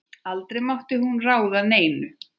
Aldrei mátti hún ráða neinu.